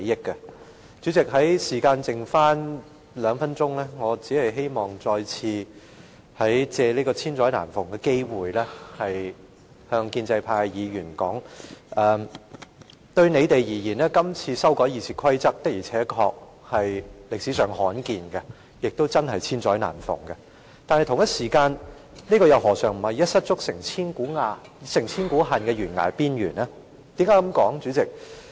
代理主席，我的發言時間只剩下兩分鐘，我只希望再次藉此千載難逢的機會向建制派的議員說，今次修改《議事規則》確實可謂歷史上罕見，也真的是千載難逢的機會，但他們又何嘗不是站在懸崖邊緣，可能造成一失足成千古恨的惡果。